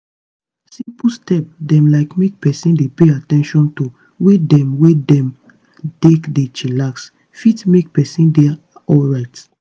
simple step dem like make peson dey pay at ten tion to way dem wey dem take dey chillax fit make peson dey alrite.